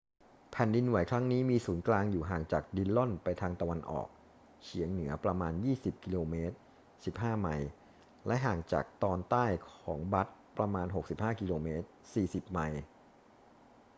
แผ่นดินไหวครั้งนี้มีศูนย์กลางอยู่ห่างจากดิลลอนไปทางตะวันออกเฉียงเหนือประมาณ 20 กม. 15 ไมล์ และห่างจากตอนใต้ของบัตต์ประมาณ 65 กม. 40 ไมล์